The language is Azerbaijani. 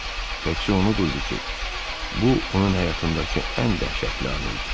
Təkcə onu duydu ki, bu onun həyatındakı ən dəhşətli anı idi.